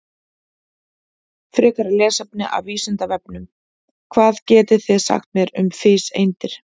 Frekara lesefni af Vísindavefnum: Hvað getið þið sagt mér um fiseindir?